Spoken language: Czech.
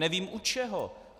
Nevím u čeho.